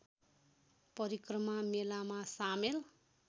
परिक्रमा मेलामा सामेल